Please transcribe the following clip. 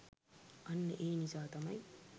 අන්න ඒ නිසා තමයි